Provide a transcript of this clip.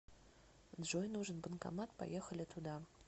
джой нужен банкомат поехали туда